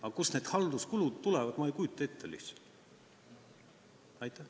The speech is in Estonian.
Aga kust need halduskulud tulevad, seda ma lihtsalt ei kujuta ette.